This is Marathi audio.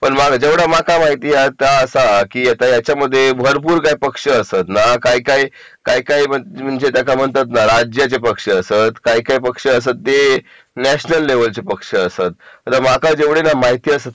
पण जेवढं मका माहिती आहे तसा की याच्यामध्ये भरपूर काही पक्ष असत ना काही काही म्हणजे त्या का म्हणतात ना राज्याचे पक्ष असत काही काही पक्ष असत ते नॅशनल लेव्हलचे पक्ष असत आता माका जेवढी ना माहिती असत